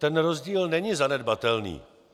Ten rozdíl není zanedbatelný.